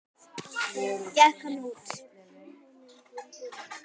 Gekk hann út.